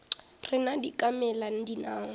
rena di ka mela dinao